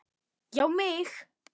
Já mig!